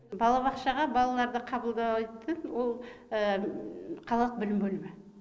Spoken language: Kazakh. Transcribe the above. балабақшаға балаларды қабылдайтын ол қалалық білім бөлімі